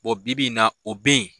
bibi in na, o be yen.